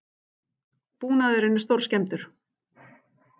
Búnaðurinn er stórskemmdur